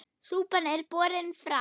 Súpan er borin fram.